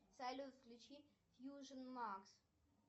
салют включи фьюжн макс